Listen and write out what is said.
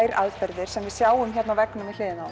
þær aðferðir sem við sjáum hér á veggnum við hliðina